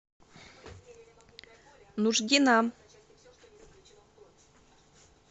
нуждина